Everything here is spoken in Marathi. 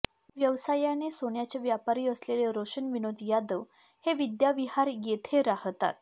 व्यवसायाने सोन्याचे व्यापारी असलेले रोशन विनोद यादव हे विद्याविहार येथे राहतात